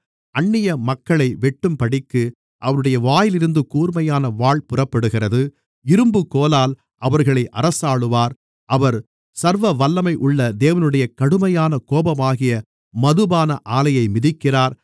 அந்நிய மக்களை வெட்டும்படிக்கு அவருடைய வாயிலிருந்து கூர்மையான வாள் புறப்படுகிறது இரும்புக்கோலால் அவர்களை அரசாளுவார் அவர் சர்வவல்லமையுள்ள தேவனுடைய கடுமையான கோபமாகிய மதுபான ஆலையை மிதிக்கிறார்